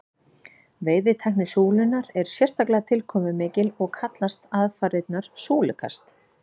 veiðitækni súlunnar er sérstaklega tilkomumikil og kallast aðfarirnar súlukast